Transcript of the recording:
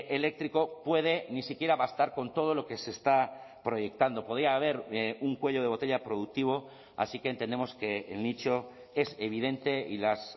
eléctrico puede ni siquiera va a estar con todo lo que se está proyectando podía haber un cuello de botella productivo así que entendemos que el nicho es evidente y las